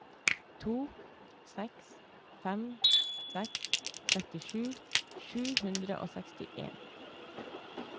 to seks fem seks trettisju sju hundre og sekstien